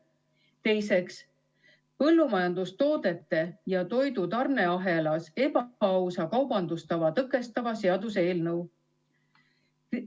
Teiseks, põllumajandustoodete ja toidu tarneahelas ebaausa kaubandustava tõkestava seaduse eelnõu.